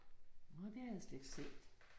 Nåh, det havde jeg slet ikke set